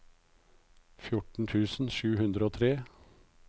fjorten tusen sju hundre og tre